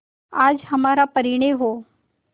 आज हमारा परिणय हो